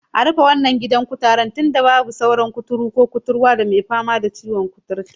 A rufe wannan gidan kutaren tunda babu sauran wani kuturu ko kuturwa mai fama ciwon kuturta